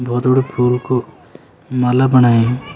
बहौत बडू फूल कु माला बणाई।